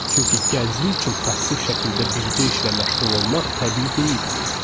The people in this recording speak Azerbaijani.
Çünki gənclik üçün passiv şəkildə bircə işlə məşğul olmaq təbii deyildi.